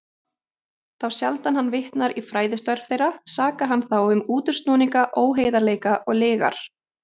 Þá sjaldan hann vitnar í fræðistörf þeirra, sakar hann þá um útúrsnúninga, óheiðarleika og lygar.